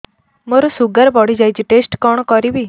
ମୋର ଶୁଗାର ବଢିଯାଇଛି ଟେଷ୍ଟ କଣ କରିବି